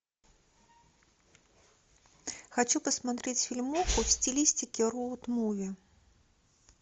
хочу посмотреть фильмуху в стилистике роуд муви